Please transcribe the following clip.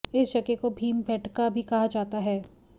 इस जगह को भीमबैठका भी कहा जाता है